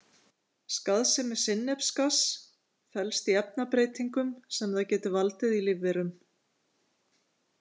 Skaðsemi sinnepsgass felst í efnabreytingum sem það getur valdið í lífverum.